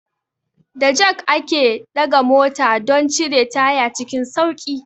Da jak ake ɗaga mota don cire taya cikin sauƙi.